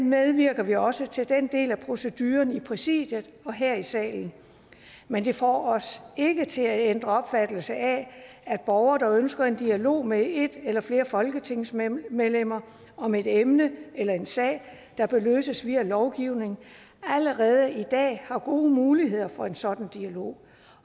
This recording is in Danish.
medvirker vi også til den del af proceduren i præsidiet og her i salen men det får os ikke til at ændre den opfattelse at borgere der ønsker en dialog med et eller flere folketingsmedlemmer om et emne eller en sag der kan løses via lovgivning allerede i dag har gode muligheder for en sådan dialog